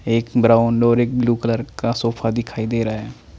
एक ब्राउन और एक ब्लू कलर का सोफा दिखाई दे रहा है।